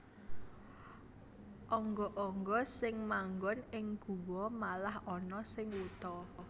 Angga angga sing manggon ing guwa malah ana sing wuta